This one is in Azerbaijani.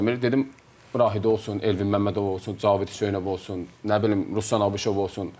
Dedim Rahid olsun, Elvin Məmmədov olsun, Cavid Hüseynov olsun, nə bilim Ruslan Abışov olsun.